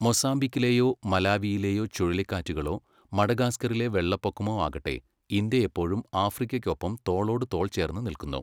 മൊസാംബിക്കിലെയോ മലാവിയിലെയോ ചുഴലിക്കാറ്റുകളോ മഡഗാസ്കറിലെ വെള്ളപ്പൊക്കമോ ആകട്ടെ, ഇന്ത്യ എപ്പോഴും ആഫ്രിക്കയ്ക്കൊപ്പം തോളോട് തോൾ ചേർന്ന് നിൽക്കുന്നു.